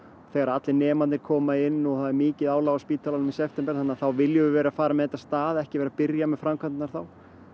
þegar allir nemarnir koma inn og það er mikil álag á spítalanum í september þá viljum við vera farin með þetta af stað ekki byrja framkvæmdirnar þá